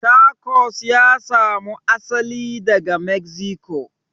Tacos ya samu asali daga mexico